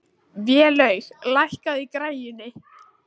Vélaug, lækkaðu í græjunum.